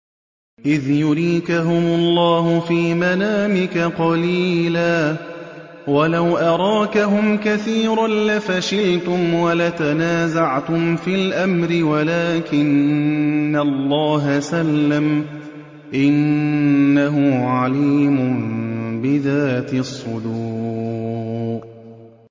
إِذْ يُرِيكَهُمُ اللَّهُ فِي مَنَامِكَ قَلِيلًا ۖ وَلَوْ أَرَاكَهُمْ كَثِيرًا لَّفَشِلْتُمْ وَلَتَنَازَعْتُمْ فِي الْأَمْرِ وَلَٰكِنَّ اللَّهَ سَلَّمَ ۗ إِنَّهُ عَلِيمٌ بِذَاتِ الصُّدُورِ